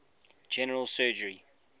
general surgery